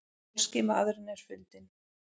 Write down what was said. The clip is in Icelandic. Pólski maðurinn er fundinn?